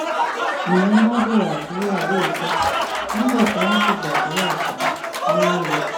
nìyẹn bá bẹ̀rẹ̀ àdúrà lóòótọ́ nígbà tí wọ́n sì gbàdúrà tán wọn lò